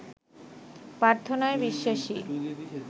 প্রার্থনায় বিশ্বাসী